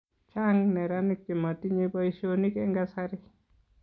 chaang' neranik chemotinyei boisionik eng' kasari.